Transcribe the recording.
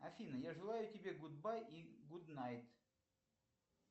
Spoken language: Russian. афина я желаю тебе гудбай и гуднайт